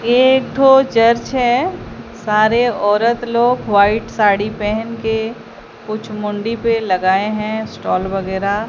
ये एक थो चर्च है सारे औरत लोग व्हाइट साड़ी पहेन के कुछ मुंडी पे लगाए हैं स्टॉल वगैरा।